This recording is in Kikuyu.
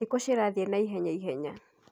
Thikũ cirathĩe naihenya ihenya